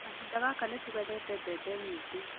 Kahinda gaka nĩ tũgethete mbembe nyingĩ